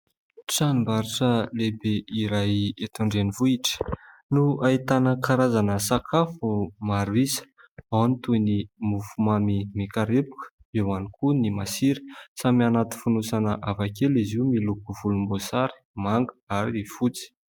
Tranombarotra lehibe iray eto an-drenivohitra no ahitana karazana sakafo maro isa. Ao ny toy ny mofomamy mikarepoka eo ihany koa ny masira. Samy anaty fonosana hafa kely izy io miloko volomboasary, manga ary fotsy.